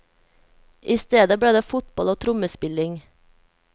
I stedet ble det fotball og trommespilling.